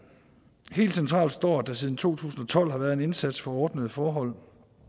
helt centralt står at der siden to tusind og tolv har været en indsats for ordnede forhold